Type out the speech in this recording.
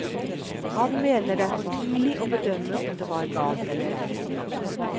Han mener det er for tidlig å bedømme om det var galt eller ei.